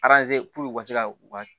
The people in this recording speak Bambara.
u ka se ka u ka